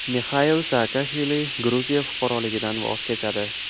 Mixail Saakashvili Gruziya fuqaroligidan voz kechadi.